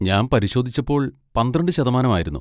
ഞാൻ പരിശോധിച്ചപ്പോൾ പന്ത്രണ്ട് ശതമാനം ആയിരുന്നു.